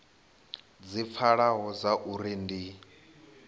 dzi pfalaho dza uri ndi